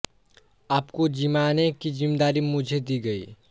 आपको जिमाने की जिम्मेदारी मुझे दी गई है